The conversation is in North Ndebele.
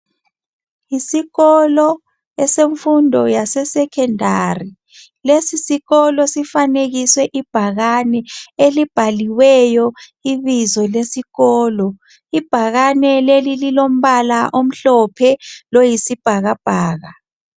Isikolo esemfundo yase secondary. Lesisikolo sifanekiswe ibhakani. Elibhaliweyo ibizo lesikolo. lbhakane leli liilombala omhlophe, loyisibhakabhaka.